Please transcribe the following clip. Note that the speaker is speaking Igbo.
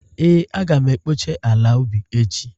Ee, Aga m ekpocha ala ubi echi